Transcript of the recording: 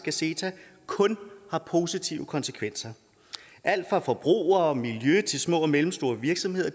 at ceta kun har positive konsekvenser alt fra forbrugere og miljø til små og mellemstore virksomheder